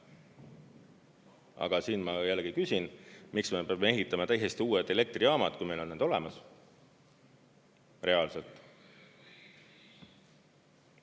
Aga siin ma jällegi küsin, miks me peame ehitama täiesti uued elektrijaamad, kui meil on need olemas reaalselt.